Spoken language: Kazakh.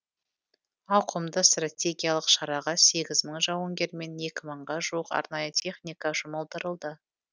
ауқымды стратегиялық шараға сегіз мың жауынгер мен екі мыңға жуық арнайы техника жұмылдырылды